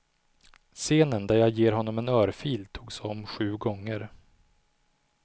Scenen där jag ger honom en örfil togs om sju gånger.